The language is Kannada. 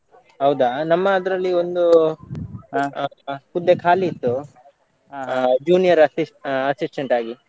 ಹೌದಾ. ನಮ್ಮ ಅದ್ರಲ್ಲಿ ಒಂದು ಹುದ್ದೆ ಖಾಲಿ ಇತ್ತು junior assistant ಆ assistant ಆಗಿ.